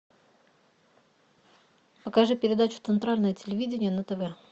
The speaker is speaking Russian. покажи передачу центральное телевидение на тв